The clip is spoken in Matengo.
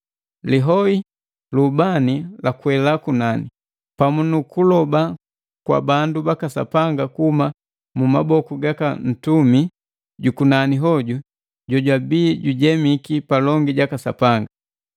Lihoi lu ubani lakwela kunani, pamu nu kuloba kwa bandu baka Sapanga kuhuma mu maboku gaka ntumi jukunani hoju jojwabi jujemiki palongi jaka Sapanga.